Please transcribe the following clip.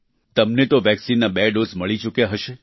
તમને તો વેક્સિનના બે ડોઝ મળી ચૂક્યા હશે